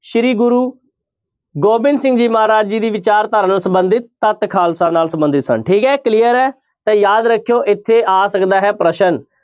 ਸ੍ਰੀ ਗੁਰੂ ਗੋਬਿੰਦ ਸਿੰਘ ਜੀ ਮਹਾਰਾਜ ਜੀ ਦੀ ਵਿਚਾਰਧਾਰਾ ਨਾਲ ਸੰਬੰਧਿਤ ਤੱਤ ਖਾਲਸਾ ਨਾਲ ਸੰਬੰਧਿਤ ਸਨ ਠੀਕ ਹੈ clear ਹੈ ਤਾਂ ਯਾਦ ਰੱਖਿਓ ਇੱਥੇ ਆ ਸਕਦਾ ਹੈ ਪ੍ਰਸ਼ਨ